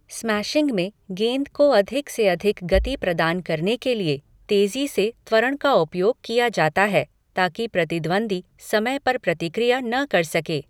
Smashing में गेंद को अधिक से अधिक गति प्रदान करने के लिए तेजी से त्वरण का उपयोग किया जाता है ताकि प्रतिद्वंद्वी समय पर प्रतिक्रिया न कर सके।